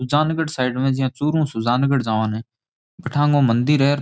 Sujangarh side मै जियां चुरू ऊं सुजानगढ़ जावां नै बठे आंगो मंदिर है अर --